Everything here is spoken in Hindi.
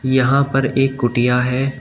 यहां पर एक कुटिया है।